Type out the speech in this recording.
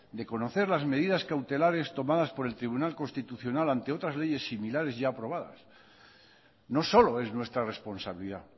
de conocer las medidas cautelares tomadas por el tribunal constitucional ante otras leyes similares ya aprobadas no solo es nuestra responsabilidad